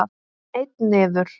Einn niður!